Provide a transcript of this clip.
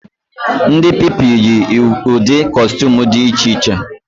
Ndị Pupilụ yi ụdị kọstuum dị iche iche